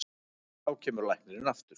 Þá kemur læknirinn aftur.